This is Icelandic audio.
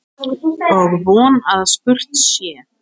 Var ég svona vondur?